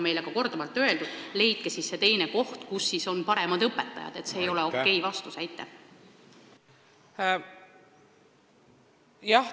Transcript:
Meile on korduvalt öeldud, et leidke siis teine koht, kus on paremad õpetajad, aga see ei ole okei-vastus.